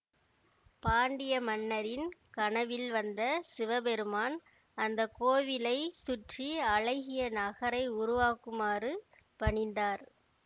பாண்டிய மன்னரின் கனவில் வந்த சிவபெருமான் அந்த கோவிலை சுற்றி அழகிய நகரை உருவாக்குமாறு பணித்தார்